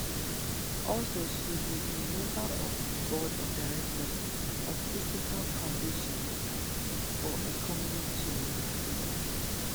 also she be di member of di board of directors of feseca foundation for economic change in africa